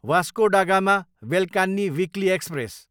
Vasco da Gama, Velankanni weekly express